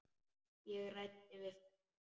Ég ræddi við frænda minn.